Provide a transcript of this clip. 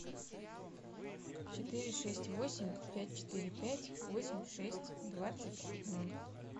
четыре шесть восемь пять четыре пять восемь шесть двадцать ноль